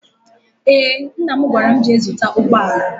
Eé, mna m gwara m, jee zụta ụgbọala.